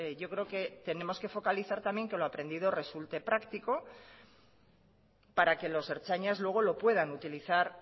yo creo que focalizar también que lo aprendido resulte practico para que los ertzainas luego lo puedan utilizar